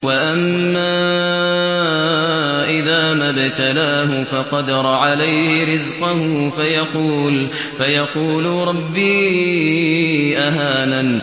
وَأَمَّا إِذَا مَا ابْتَلَاهُ فَقَدَرَ عَلَيْهِ رِزْقَهُ فَيَقُولُ رَبِّي أَهَانَنِ